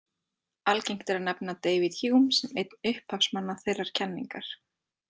Algengt er að nefna David Hume sem einn upphafsmann þeirrar kenningar.